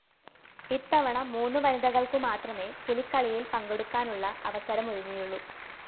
ഇത്തവണ മൂന്നു വനിതകള്‍ക്കു മാത്രമെ പുലിക്കളിയില്‍ പങ്കെടുക്കാനുള്ള അവസരമൊരുങ്ങിയുള്ളൂ